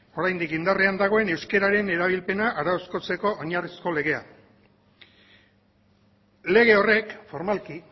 oraindik indarrean dagoen euskararen erabilpena arautzeko oinarrizko legea lege horrek formalki